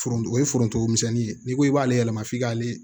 Foronto ye forontomisɛnninye n'i ko i b'ale yɛlɛma f'i k'ale